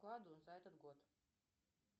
вклады за этот год